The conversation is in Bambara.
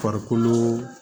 Farikolo